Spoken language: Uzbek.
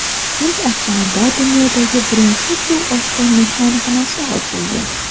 Hind okeanida dunyodagi birinchi suvosti mehmonxonasi ochildi .